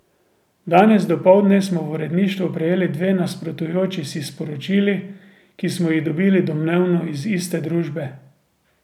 Danes dopoldne smo v uredništvo prejeli dve nasprotujoči si sporočili, ki smo jih dobili domnevno iz iste družbe.